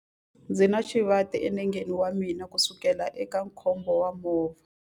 Ndzi na xivati enengeni wa mina kusukela eka khombo ra movha.